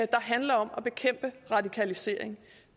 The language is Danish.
der handler om at bekæmpe radikalisering